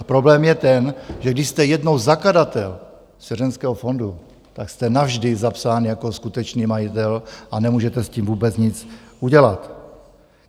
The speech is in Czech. A problém je ten, že když jste jednou zakladatel svěřenského fondu, tak jste navždy zapsán jako skutečný majitel a nemůžete s tím vůbec nic udělat.